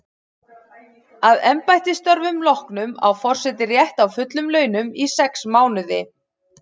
Að embættisstörfum loknum á forseti rétt á fullum launum í sex mánuði.